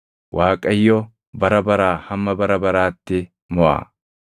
“ Waaqayyo, bara baraa hamma bara baraatti moʼa.”